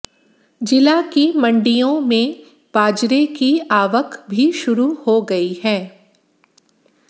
जिला की मण्डियों में बाजरे की आवक भी शुरू हो गई है